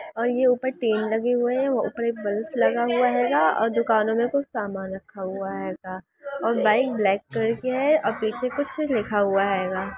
और ऊपर ये टीन लगे हुए हैं और ऊपर एक बल्फ लगा हुआ हेगा और दुकानों में कुछ समान---